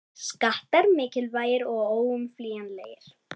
Skattar mikilvægir og óumflýjanlegir